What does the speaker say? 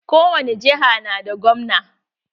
Kowani jiha na da gwamna.